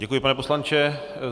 Děkuji, pane poslanče.